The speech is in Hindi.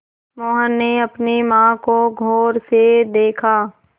मोहन ने अपनी माँ को गौर से देखा